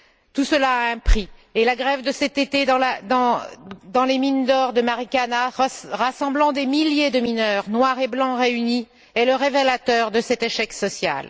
Tout cela a un prix et la grève de cet été dans les mines d'or de Maricana, qui a rassemblé des milliers de mineurs, noirs et blancs réunis, a été le révélateur de cet échec social.